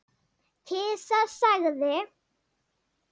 Kisa sagði